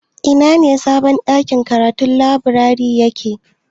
Ina sabon ɗakin karatun/laburari yake?